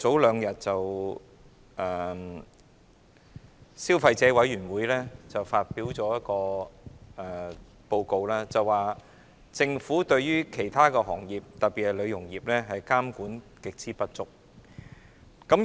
兩天前，消費者委員會發表報告，指政府對很多行業特別是美容業的監管極之不足。